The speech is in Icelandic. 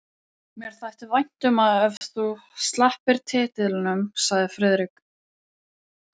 Mér þætti vænt um ef þú slepptir titlinum sagði Friðrik.